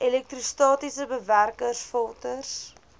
elektrostatiese bewerkers filters